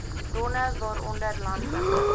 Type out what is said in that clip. bronne waaronder landelike